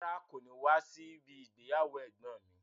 Rárá, kò ní wá síbi ìgbéyàwó ẹ̀gbọ́n ǹ mi.